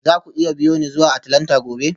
Za ku iya biyo ni zuwa Atlanta gobe?